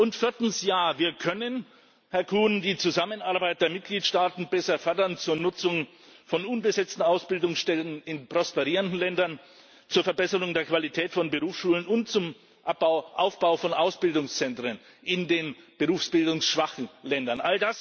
Und viertens Ja, wir können Herr Kuhn die Zusammenarbeit der Mitgliedstaaten besser fördern zur Nutzung von unbesetzten Ausbildungsstellen in prosperierenden Ländern, zur Verbesserung der Qualität von Berufsschulen und zum Aufbau von Ausbildungszentren in den berufsbildungsschwachen Ländern.